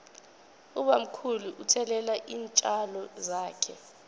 ubamkhulu uthelelela iintjalo zakhe